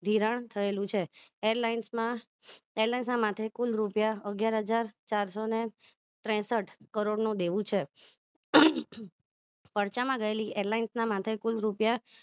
ધિરાણ થયેલું છું airline માં airlines ના માટે કુલ રૂપિયા અગ્યાર હજાર ચારસો ને ત્રેસઠ કરોડ નું દેવું છે ખર્ચા માં ગયેલી LIS માથે કુલ રૂપિયા